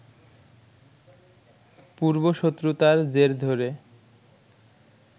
পূর্ব শত্রুতার জের ধরে